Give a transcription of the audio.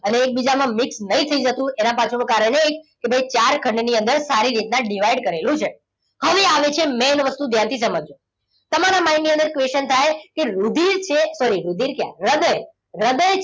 અનેક બીજામાં mix નહીં થઈ જતું. એનું કારણ એ છે કે ભાઈ ચાર ખંડની અંદર સારી રીતના divide કરેલું છે. હવે આવે છે main વસ્તુ ધ્યાનથી સમજજો. તમારા mind ની અંદર question થાય કે રુધિર છે. sorry રુધિર ક્યાં હૃદય. હૃદય,